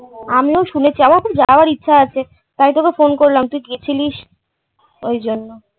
আমিও শুনেছি। আমারও খুব যাওয়ার ইচ্ছে আছে তাই তোকে ফোন করলাম তুই গেছিলিস ওইজন্যে